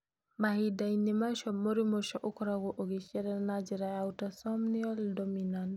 Mahinda-inĩ macio, mũrimũ ũcio ũkoragwo ũgaciarana na njĩra ya autosomal dominant.